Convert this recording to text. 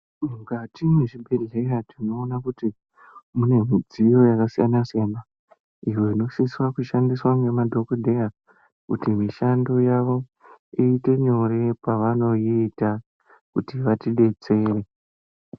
Mukati mwezvibhedhlera tinoona kuti munemidziyo yaka siyana siyana iyo inosisa kushandiswa ngema dhokodheya kuti mishando yavo iyite nyore pavanoyiita kuti vatibetsere.